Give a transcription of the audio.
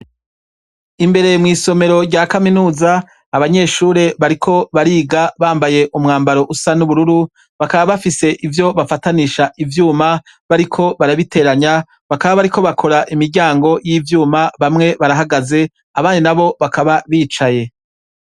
Imbere mw'isomero rya kaminuza, abanyeshure bariko bariga, bambaye umwambaro usa n'ubururu, bakaba bafise ivyo bafatanisha ivyuma, bariko barabiteranya, bakaba bariko bakora imiryango y'ivyuma, bamwe barahagaze abandi n'abo bakaba bicaye.